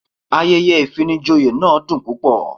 Ayẹyẹ ìfinijoyè náà dùn púpọ̀.